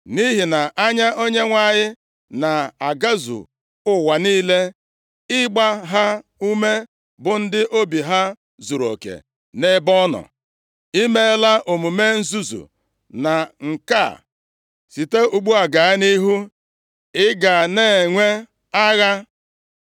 Nʼihi na anya Onyenwe anyị na-agazu ụwa niile, ịgba ha ume bụ ndị obi ha zuruoke nʼebe ọ nọ. I meela omume nzuzu na nke a, site ugbu a gaa nʼihu ị ga na-enwe agha.”